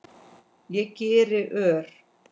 Ég geri ör